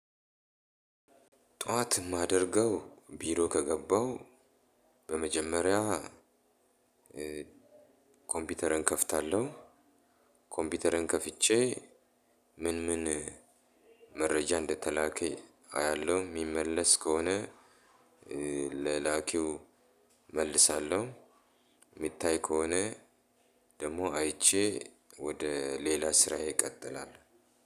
ጧት የማደርገው ቢሮ ከገባው በመጀመሪያ ኮምፒውተረን ከፍታለሁ። ኮምፒውተረን ከፍቼ፤ ምን መረጃ እንደተላከ አያለሁ። የሚመለስ ከሆነ፤ ለላኪው እመልሳለሁ። የሚታይ ከሆነ፤ ደግሞ አይቼ ወደ ሌላ ስራዬ እቀጥላለሁ።